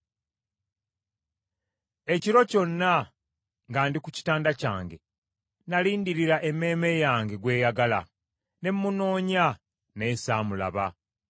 Ekiro kyonna nga ndi ku kitanda kyange, nalindirira emmeeme yange gw’eyagala, ne munoonya naye saamulaba.